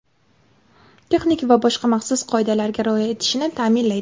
texnik va boshqa maxsus qoidalarga rioya etilishini taʼminlaydi.